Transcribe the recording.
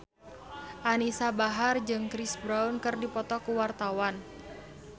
Anisa Bahar jeung Chris Brown keur dipoto ku wartawan